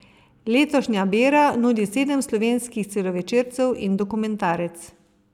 Letošnja bera nudi sedem slovenskih celovečercev in dokumentarec.